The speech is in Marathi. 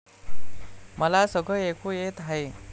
मला सगळं ऐकू येत आहे.